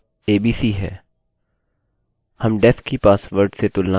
हम def की password से तुलना करने जा रहे हैं जो संचित पासवर्ड है